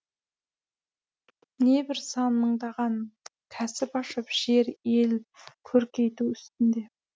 небір сан мыңдаған кәсіп ашып жер ел көркейту үстінде